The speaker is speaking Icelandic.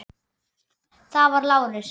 Það var Lárus.